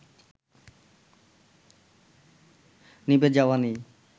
নিভে যাওয়া নেই